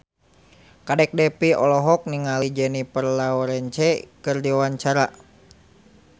Kadek Devi olohok ningali Jennifer Lawrence keur diwawancara